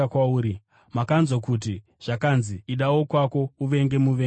“Makanzwa kuti zvakanzi, ‘Ida wokwako, uvenge muvengi wako.’